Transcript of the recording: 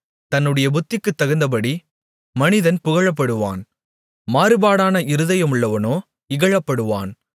தன்னுடைய புத்திக்குத் தகுந்தபடி மனிதன் புகழப்படுவான் மாறுபாடான இருதயமுள்ளவனோ இகழப்படுவான்